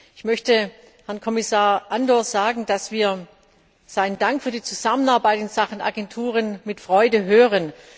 Ich möchte Herrn Kommissar Andor sagen, dass wir seinen Dank für die Zusammenarbeit in Sachen Agenturen mit Freude hören.